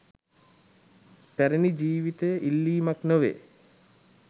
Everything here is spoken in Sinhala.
පැරණි ජීවිතය ඉල්ලීමක් නොවේ.